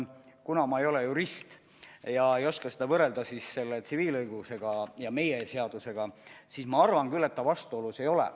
Kuna ma ei ole jurist, siis ma ei oska seda võrrelda tsiviilõigusega ja meie seadustega, kuid ma arvan küll, et ta vastuolus ei ole.